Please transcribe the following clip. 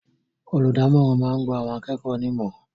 Olùdámọ̀ràn máa ń gba àwọn akẹ́kọ̀ọ́ ní ìmọ̀ràn